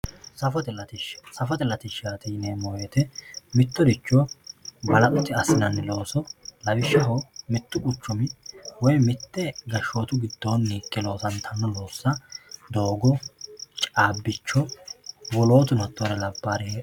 safote latishsha safote latishshaati yineemo woyiite mittoricho balaxote assinanni looso lawishshaho mittu quchumi woye mite gashshootu gidoonni higge loosantanno loossa doogo, cabicho wolootuno hatoore labbaareeti.